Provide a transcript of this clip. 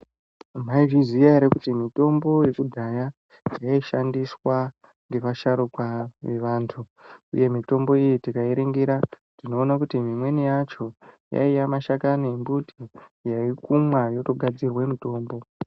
Mwaizviziya ere kuti mitombo yekudhaya yaishandiswa ngevasharuka vevantu uye mitombo iyi tikairingira tinoone kuti imweni yacho yaiye mashakani embuti yaikumwa yotogadzirwe mitombo.